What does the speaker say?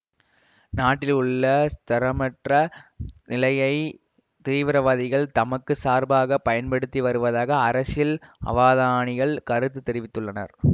நாட்டில் உள்ள ஸ்திரமற்ற நிலையை தீவிரவாதிகள் தமக்கு சார்பாகப் பயன்படுத்தி வருவதாக அரசியல் அவாதானிகள் கருத்து தெரிவித்துள்ளனர்